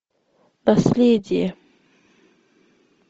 наследие